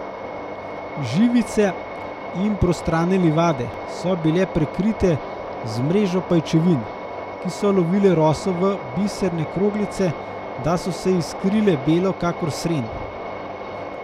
Živice in prostrane livade so bile prekrite z mrežo pajčevin, ki so lovile roso v biserne kroglice, da so se iskrile belo kakor sren.